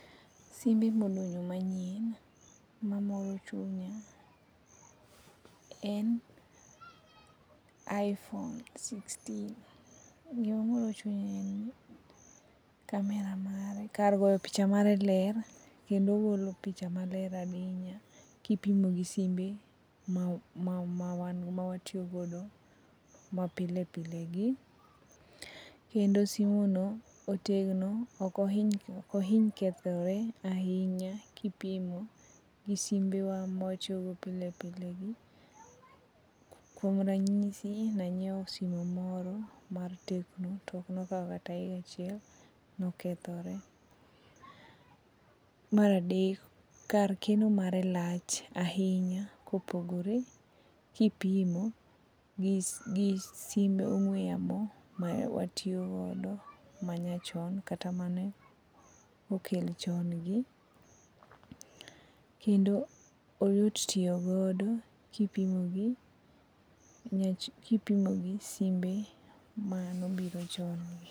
Simbe modonjo manyien mamoro chunya en iphone apar gauchiel. Gima miyo omoro chunya en camera mare kar goyo picha mare ler kendo ogoyo picha maler kipimo gi simbe ma wantie godo gi mapile pile gi. Kendo simu no otegno ok ohiny kethore ahinya kipimo gi simbewa ma watiyogo pile pilegi kuom ranyisi ne anyiewo simu moro mar tecno to ok nokawo kata higa achiel to nokethre. Mar adek kar keno mare lach ahinya kopogore kipimo gi simb ong'ue yamo ma watiyo godo manyachon kata mane okel chon gi kendo oyot tiyo godo kendo kipimo gi simbe mane obiro chon.